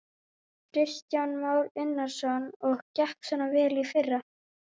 Kristján Már Unnarsson: Og gekk svona vel í fyrra?